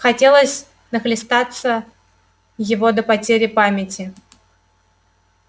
хотелось нахлестаться его до потери памяти